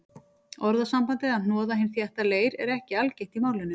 Orðasambandið að hnoða hinn þétta leir er ekki algengt í málinu.